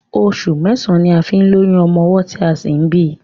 Oṣù mẹ́ẹ̀sán ní a fi ń lóyún ọmọ ọwọ́ tí a sì fi ń bíi.